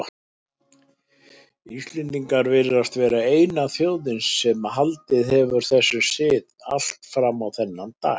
Íslendingar virðast vera eina þjóðin sem haldið hefur þessum sið allt fram á þennan dag.